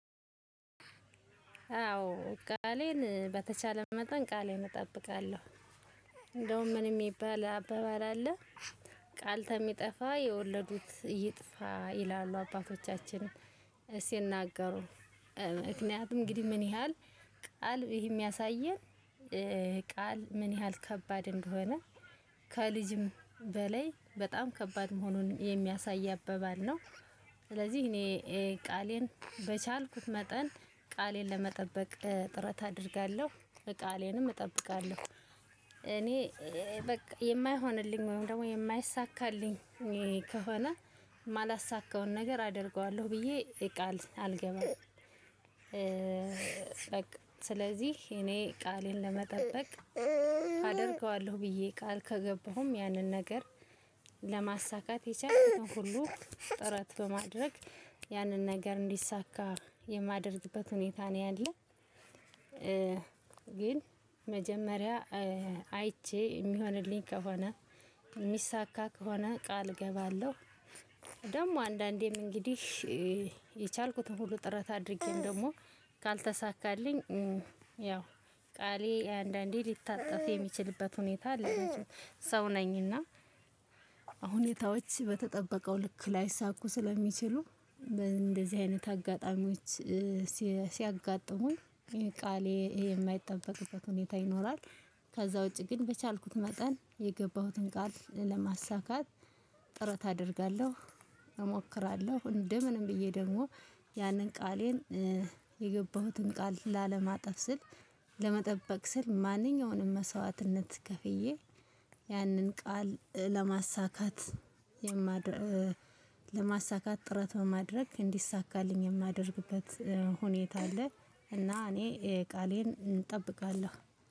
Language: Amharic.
አዎ ቃሌን በተቻለ መጠን ቃሌን እጠብቃለሁ። እንደውም ምን የሚባል አባባል አለ ቃል ተሚጠፋ የወለዱት ይጥፋ ይላሉ አባቶቻችንን ሲናገሩ። ምክንያቱም እንግዲህ ምን ያህል ቃል ይሄ የሚያሳየን። ቃል ምን ያህል ከባድ እንደሆነ ከልጅም በላይ በጣም ከባድ መሆኑን የሚያሳይ አባባል ነው። ስለዚህ እኔ ቃሌን በቻልኩት መጠን ቃሌን ለመጠበቅ ጥረት አደርጋለሁ ቃሌንም እጠብቃለሁ። እኔ በቃ የማይሆንልኝ ወይም ደግሞ የማይሳካልኝ ከሆነ የማላሳካውን ነገር አደርገዋለሁ ብዬ ቃል አልገባም። በቃ ስለዚህ እኔ ቃሌን ለመጠበቅ አደርገዋለሁ ብዬ ቃል ከገባሁም ያንን ነገር ለማሳካት የቻልኩትን ሁሉ ጥረት በማድረግ ያንን ነገር እንዲሳካ የማደርግበት ሁኔታ ነው ያለው። ግን መጀመሪያ አይቼ የሚሆንልኝ ከሆነ የሚሳካ ከሆነ ቃል እገባለሁ። ደግሞ አንዳንዴም እንግዲህ የቻልኩትን ሁሉ ጥረት አድርጌንም ደግሞ ካልተሳካልኝ ያው ቃሌ አንዳንዴ ሊታጠፍ የሚችልበት ሁኔታ አለ። መቼም ሰው ነኝና። ሁኔታዎች በተጠበቀው ልክ ላይሳኩ ስለሚችሉ እንደዚህ አይነት አጋጣሚዎች ሲያጋጥሙኝ ቃሌ የማይጠበቅበት ሁኔታ ይኖራል። ከዛ ውጪ ግን በቻልኩት መጠን የገባሁትን ቃል ለማሳካት ጥረት አደርጋለሁ። እሞክራለሁ እንደምንም ብዬ ደግሞ ያንን ቃሌን የገባሁትን ቃል ላለማጠፍ ስል ለመጠበቅ ስል ማንኛውንም መስዋዕትነት ከፍዬ ያንን ቃል ለማሳካት ጥረት በማድረግ እንዲሳካልኝ የማደርግበት ሁኔታ አለ። እና እኔ ቃሌን እንጠብቃለን።